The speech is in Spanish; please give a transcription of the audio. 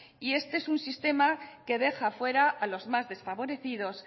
y este es un sistema que deja fuera a los más desfavorecidos